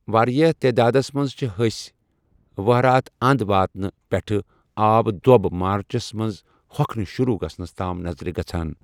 واریاہ تعدادَس مَنٛز چِھ ۂسۍ ، وَہرٲتھ انٛد وٲتِنہٕ پیٹھہٕ آبہٕ دو٘ب مارچس منز ہوكھٕنہِ شروع گژھنس تام ، نظرِ گژھان ۔